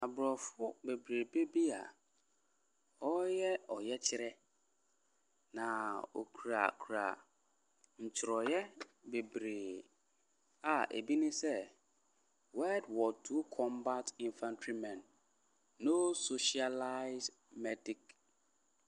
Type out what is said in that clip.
Aborɔfo bebrebe bi a wɔreyɛ ɔyɛkyerɛ, na wɔkurakura ntwerɛeɛ bebree a ebi ne sɛ, Word Word II Combat infantry men, No socialised medic .